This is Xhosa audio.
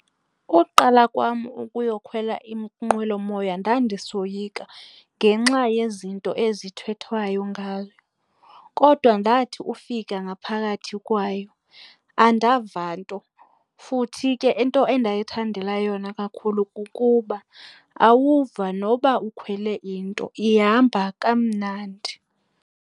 Ukuqala kwam ukuyokhwela inqwelomoya ndandisoyika ngenxa yezinto ezithethwayo ngayo. Kodwa ndathi ufika ngaphakathi kwayo andava nto. Futhi ke into endiyithandela yona kakhulu kukuba awuva noba ukhwele into ihamba kamnandi.